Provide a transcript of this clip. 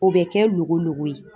O bɛ kɛ logo logo ye.